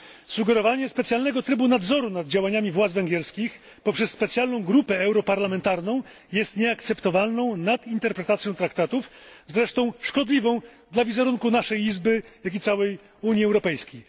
Sugerowanie specjalnego trybu nadzoru nad działaniami władz węgierskich poprzez specjalną grupę europarlamentarną jest nieakceptowalną nadinterpretacją traktatów, zresztą szkodliwą dla wizerunku naszej Izby, jak i całej Unii Europejskiej.